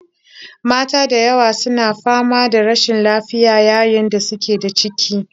Mata da yawa su na fama da rashin lafiya yayin da suke da ciki